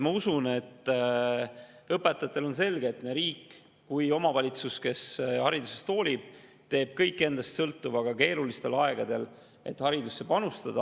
Ma usun, et õpetajatele on selge, et nii riik kui ka omavalitsus, kes haridusest hoolib, teevad kõik endast sõltuva ka keerulistel aegadel, et haridusse panustada.